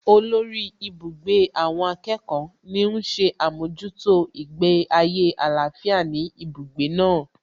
Olórí ibùgbé àwọn akẹ́kọ̀ọ́ ní ń ṣe àmójútó ìgbé ayé àlàáfíà ní ibùgbé náà